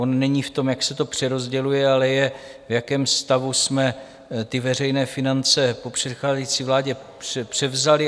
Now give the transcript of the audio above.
On není v tom, jak se to přerozděluje, ale je, v jakém stavu jsme ty veřejné finance po předcházející vládě převzali.